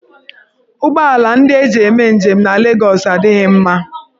Ụgbọ ala ndị eji eme njem na Legọs adịghị mma.